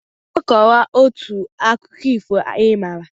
Bịa kọọ otu akụkọ ifo ị maara!